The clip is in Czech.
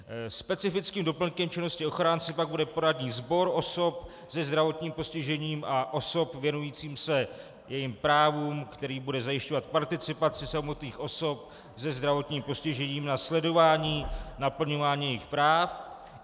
Specifickým doplňkem činnosti ochránce pak bude poradní sbor osob se zdravotním postižením a osob věnujících se jejich právům, který bude zajišťovat participaci samotných osob se zdravotním postižením na sledování naplňování jejich práv.